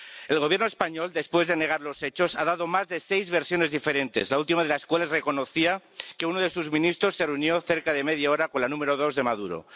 El Gobierno español, después de negar los hechos, ha dado más de seis versiones diferentes, la última de las cuales reconocía que uno de sus ministros se reunió cerca de media hora con la número dos de Maduro.